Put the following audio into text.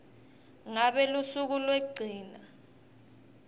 ngabe lusuku lwekugcina